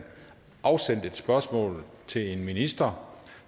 afsendt et spørgsmål til en minister